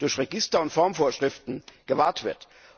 durch Register und Formvorschriften, gewahrt wird.